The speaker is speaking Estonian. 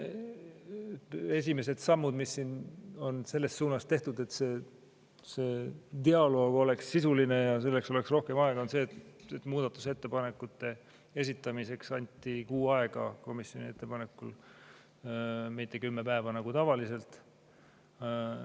Esimene samm, mis on tehtud selles suunas, et dialoog oleks sisuline ja selleks oleks rohkem aega, on see, et muudatusettepanekute esitamiseks anti komisjoni ettepanekul kuu aega, mitte kümme päeva nagu tavaliselt.